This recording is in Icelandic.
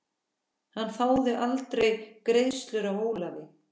Hann þáði aldrei greiðslu af Ólafi.